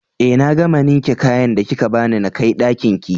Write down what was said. Eh na gama ninke kayan da kika bani nakai Ɗakinki